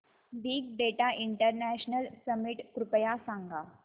big data international summit कृपया सांगा